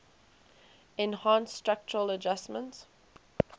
enhanced structural adjustment